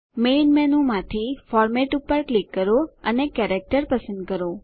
main મેનૂમાંથી format પર click કરો અને કેરેક્ટર પસંદ કરો